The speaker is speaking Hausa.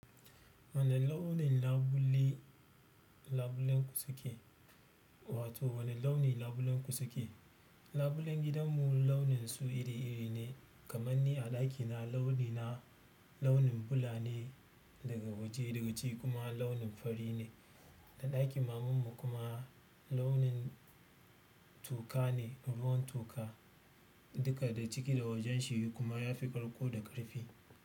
Wane launin labule labulenku suke? Wato wane launi labulenku suke? Labulen gidanmu launin su iri-iri ne. Kaman ni a ɗakina launi na launin bula ne daga waje daga ciki kuma launin fari ne. Da ɗakin mamanmu kuma launin toka ne ruwan toka. Duka da ciki da wajen shi kuma ya fi ƙarƙo da ƙarfi.